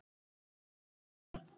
Hvað gerðir þú við hana?